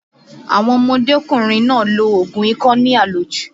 Àwọn ọmọdékùnrin náà lo oògùn ikọ́ ní àlòjù